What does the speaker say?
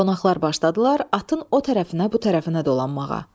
Qonaqlar başladılar atın o tərəfinə, bu tərəfinə dolanmağa.